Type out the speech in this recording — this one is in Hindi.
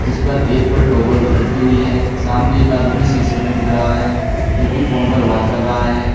जिस पर एक पर टॉवल लटकी हुई है। सामने एक आदमी शीशे में दिख रहा है जो कि फोन पर बात कर रहा है।